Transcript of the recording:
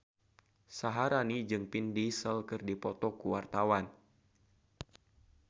Syaharani jeung Vin Diesel keur dipoto ku wartawan